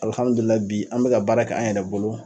bi an mɛ ka baara kɛ an yɛrɛ bolo.